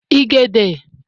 igede